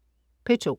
P2: